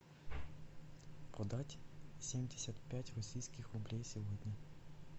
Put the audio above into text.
продать семьдесят пять российских рублей сегодня